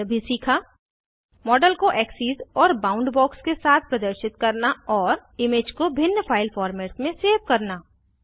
हमने निम्न भी सीखा इमेज को एक्सेस एक्सीस और बाउंड बॉक्स के साथ प्रदर्शित करना और इमेज को भिन्न फाइल फॉर्मेट्स में सेव करना